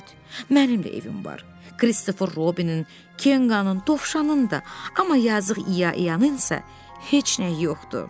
Mənim də evim var, Kristofer Robinin, Kenqanın, Dovşanın da, amma yazıq İyanın isə heç nə yoxdur.